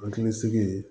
Hakili sigi